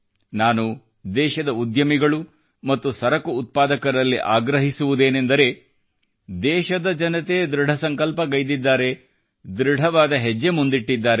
ನಾನು ದೇಶದ ಉದ್ಯಮಿಗಳು ಮತ್ತು ಸರಕು ಉತ್ಪಾದಕರಲ್ಲಿ ಆಗ್ರಹಿಸುವುದೇನೆಂದರೆ ದೇಶದ ಜನತೆ ದೃಢ ಸಂಕಲ್ಪಗೈದಿದ್ದಾರೆ ದೃಢವಾದ ಹೆಜ್ಜೆ ಮುಂದಿಟ್ಟಿದ್ದಾರೆ